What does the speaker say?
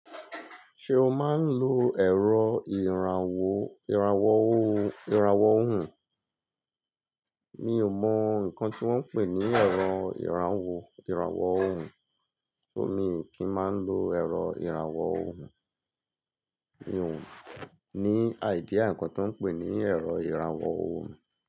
Ṣé o máa ń lo ẹ̀rọ ìràwọ̀ irawo irawo ohùn? Mi ò mọ nǹkan tí wọ́n ń pè ní ẹ̀rọ ìràwọ̀ irawo ohùn, mii kì í máa ń lo ẹ̀rọ ìràwọ̀ ohùn. Mi ò ní idea nǹkan tí wọ́n ń pè ní ẹ̀rọ ìràwọ̀ ohùn.